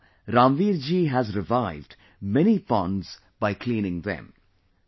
So far, Ramveer ji has revived many ponds by cleaning them